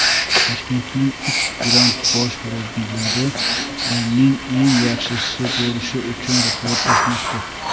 Toshkentning uch grandi bosh murabbiylari oyning eng yaxshisi bo‘lish uchun raqobatlashmoqda.